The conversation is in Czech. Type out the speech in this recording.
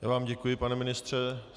Já vám děkuji, pane ministře.